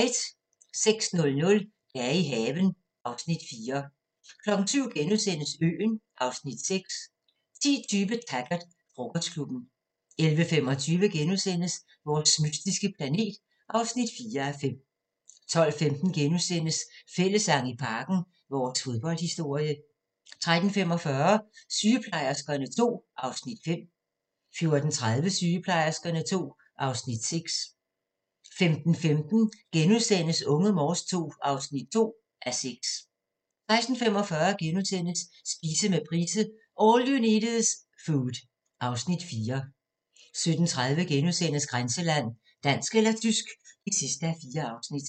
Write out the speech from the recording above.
06:00: Dage i haven (Afs. 4) 07:00: Øen (Afs. 6)* 10:20: Taggart: Frokostklubben 11:25: Vores mystiske planet (4:5)* 12:15: Fællessang i Parken - vores fodboldhistorie * 13:45: Sygeplejerskerne II (Afs. 5) 14:30: Sygeplejerskerne II (Afs. 6) 15:15: Unge Morse II (2:6)* 16:45: Spise med Price – All you need is food (Afs. 4)* 17:30: Grænseland - Dansk eller tysk (4:4)*